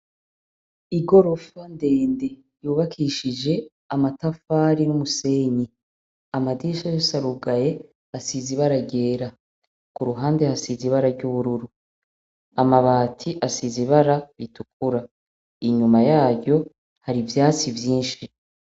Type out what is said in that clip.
Igorofa ndende yubakishije amatafari n'umusenyi, amadirisha yose arugaye ,asize irangi ryera, k'uruhande hasize ibara ry'ubururu , amabati asize ibara ritukura, inyuma yaryo hari ivyatsi vyinshi.